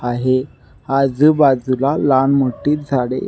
आहे आजु बाजुला लहान मोठी झाडे--